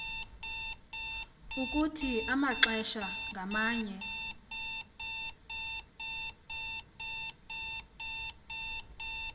ukuthi amaxesha ngamanye